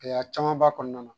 Gɛlɛya caman b'a kɔnɔna na.